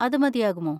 അത് മതിയാകുമോ?